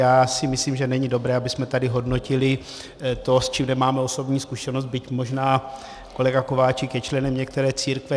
Já si myslím, že není dobré, abychom tady hodnotili to, s čím nemáme osobní zkušenost, byť možná kolega Kováčik je členem některé církve.